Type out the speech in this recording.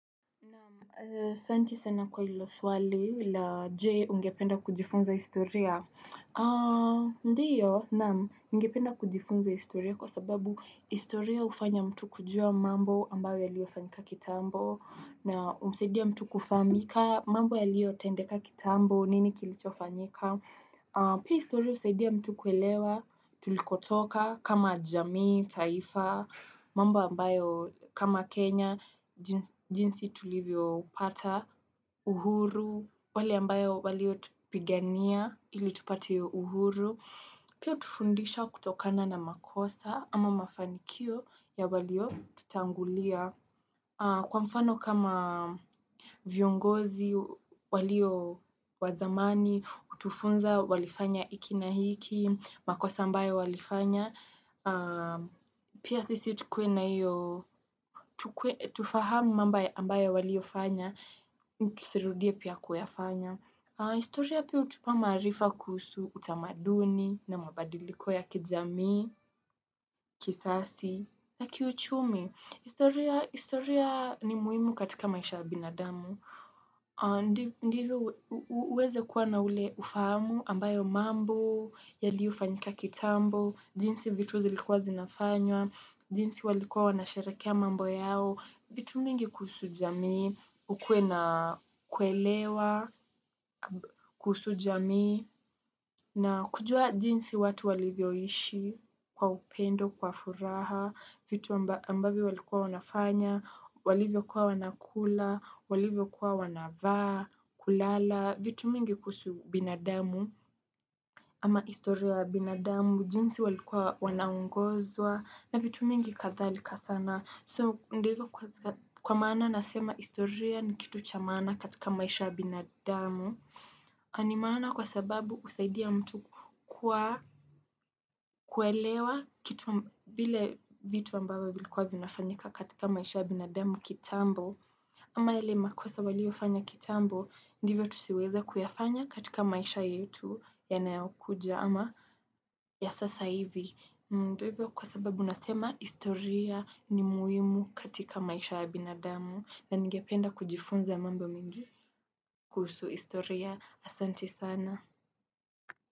Nam, asanti sana kwa ilo swali la je ungependa kujifunza historia. A, ndio. Nam, ningependa kujifunza historia kwa sababu historia ufanya mtu kujua mambo ambayo yalio fanyika kitambo. Na, umsaidia mtu kufaamika mambo yalio tendeka kitambo nini kilicho fanyika. Pia istoria usaidia mtu kuelewa, tulikotoka kama jamii, taifa, mambo ambayo kama Kenya, jinsi tulivyo pata uhuru, wale ambayo walio tupigania ili tupate uhuru. Pia utufundisha kutokana na makosa ama mafanikio ya walio tutangulia kwa mfano kama viongozi walio wazamani, utufunza walifanya iki na hiki, makosa ambayo walifanya, pia sisi tukue na io tukue tufaham mamba ambayo walio fanya, ntusirudie pia kuyafanya. Historia pia utupa maarifa kuusu utamaduni na mabadiliko ya kijamii, kisasi, na kiuchumi. Historia historia ni muhimu katika maisha ya binadamu. Ndilo uweze kuwa na ule ufahamu ambayo mambo, yaliofanyika kitambo, jinsi vituzi likuwa zinafanywa, jinsi walikua wanasherekea mambo yao. Vitu mingi kuusu jamii, ukue na kuelewa, kuusu jamii, na kujua jinsi watu walivyo ishi kwa upendo, kwa furaha, vitu amba ambavyo walikuwa wanafanya, walivyo kuwa wanakula, walivyo kuwa wanavaa, kulala, vitu mingi kuusu binadamu, ama historia ya binadamu, jinsi walikuwa wanaongozwa, na vitu mingi kadhalika sana. So ndo hivo kwa sa kwa maana nasema historia ni kitu chamaana katika maisha ya binadamu Animaana kwa sababu usaidia mtu kwa kuelewa kitu a vile vitu ambavo vilikuwa vinafanyika katika maisha ya binadamu kitambo ama ile makosa waliofanya kitambo ndivyo tusiweze kuyafanya katika maisha yetu yanayokuja ama ya sasa hivi Mndo hivyo kwa sababu nasema historia ni muhimu katika maisha ya binadamu na ningependa kujifunza mambo mingi kuusu historia asanti sana.